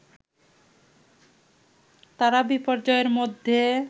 তারা বিপর্যয়ের মধ্যে